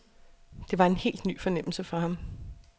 Det var en helt ny fornemmelse for ham.